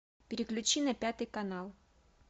переключи на пятый канал